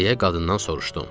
Deyə qadından soruşdum.